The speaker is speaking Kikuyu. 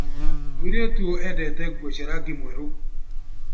Mũirĩtu ũyũ endete nguo cia rangi mwerũ.